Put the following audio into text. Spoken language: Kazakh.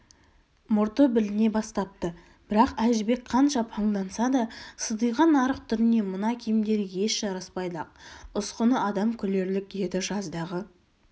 мұрты біліне бастапты бірақ әжібек қанша паңданса да сидиған арық түріне мына киімдері еш жараспайды-ақ ұсқыны адам күлерлік еді жаздағы